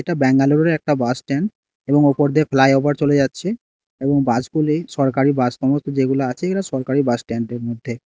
এটা ব্যাঙ্গালোরের একটা বাসটেন এবং ওপর দিয়ে প্লাই ওভার চলে যাচ্ছে এবং বাসগুলি সরকারি বাস সমস্ত যেগুলো আচে এরা সরকারি বাসস্ট্যান্ডের মধ্যে।